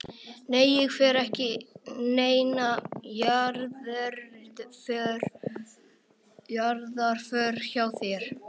Nei ég fer ekki í neina jarðarför hjá þér.